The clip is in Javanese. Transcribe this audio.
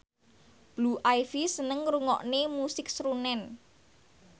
Blue Ivy seneng ngrungokne musik srunen